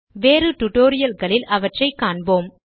வேறு டுடோரியல்களில் அவற்றை காண்போம்